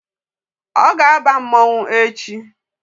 Ọ ga-aba mmọnwụ echi.